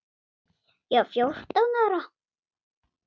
Ég var fjórtán ára.